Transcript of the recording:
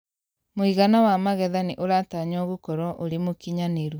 Mũigana wa magetha nĩ ũratanywo gũkorwo ũrĩ mũkinyanĩru.